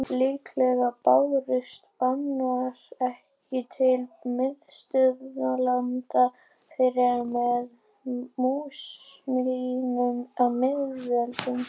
Líklega bárust bananar ekki til Miðausturlanda fyrr en með múslímum á miðöldum.